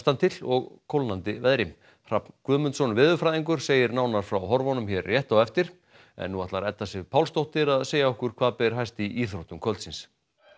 til og kólnandi veðri Hrafn Guðmundsson veðurfræðingur segir nánar frá horfunum hér rétt á eftir en nú ætlar Edda Sif Pálsdóttir að segja okkur hvað ber hæst í íþróttum kvöldsins